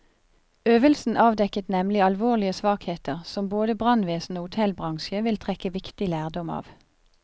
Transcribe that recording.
Øvelsen avdekket nemlig alvorlige svakheter, som både brannvesen og hotellbransje vil trekke viktig lærdom av.